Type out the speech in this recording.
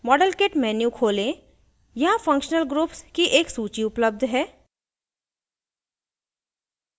model kit menu खोलें यहाँ functional groups की एक सूची उपलप्ध है